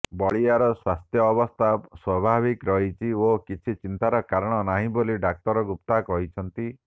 ବଳିଆର ସ୍ବାସ୍ଥ୍ୟବସ୍ଥା ସ୍ବାଭାବିକ ରହିଛି ଓ କିଛି ଚିନ୍ତାର କାରଣ ନାହିଁ ବୋଲି ଡାକ୍ତର ଗୁପ୍ତା କହିଛନ୍ତି